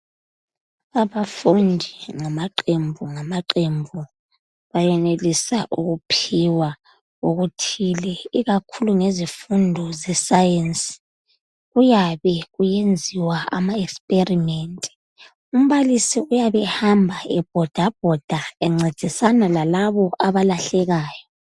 Abafundi ngamaqembu ngamaqembu bayenelisa ukuphiwa okuthile ikakhulu ngezifundo zesayensi, kuyabe kuyenziwa ama experiment. Umbalisi uyab' ehamba ebhodabhoda, encedisana lalabo abalahlekayo.